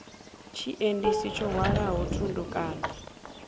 tshiendisi tsho hwalaho thundu kana